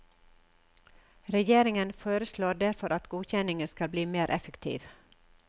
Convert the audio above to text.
Regjeringen foreslår derfor at godkjenningen skal bli mer effektiv.